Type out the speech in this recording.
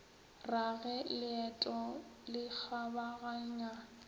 ra ge leeto le kgabaganya